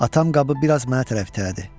Atam qabı biraz mənə tərəf itələdi.